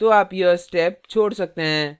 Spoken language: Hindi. तो आप यह step छोड़ सकते हैं